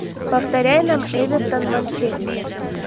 повторяй нам эвертон манчестер